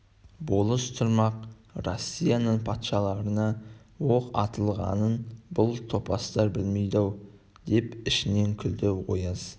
болыс тұрмақ россияның патшаларына оқ атылғанын бұл топастар білмейді-ау деп ішінен күлді ояз